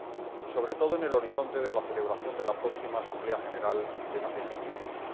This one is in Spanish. y, sobre todo, en el horizonte de la celebración de la próxima Asamblea General de las Naciones Unidas.